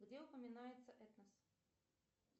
где упоминается этнос